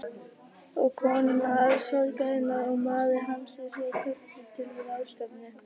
Og kona sorgarinnar og maður harmsins voru kölluð til ráðstefnu.